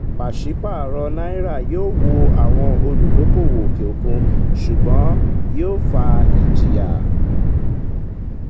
pàṣẹ paro náírà yóò wò àwọn olúdókòwò òkè òkun ṣùgbọ́n yóò fa ìjìyà.